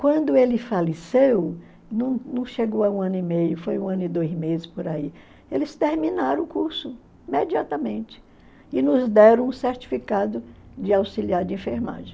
Quando ele faleceu, não não chegou a um ano e meio, foi um ano e dois meses por aí, eles terminaram o curso imediatamente e nos deram um certificado de auxiliar de enfermagem.